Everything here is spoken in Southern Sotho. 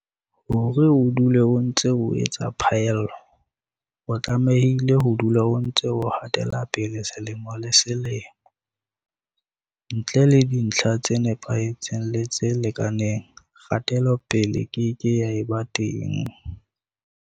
Hore o dule o ntse o etsa phaello, o tlamehile ho dula o ntse o hatela pele selemo le selemo. Ntle le dintlha tse nepahetseng le tse lekaneng, kgatelopele e ke ke ya eba teng.